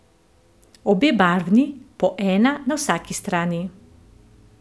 Obe barvni, po ena na vsaki strani.